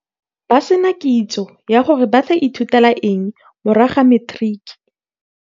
Ba se na kitso ya gore ba tla ithutela eng morago ga materiki.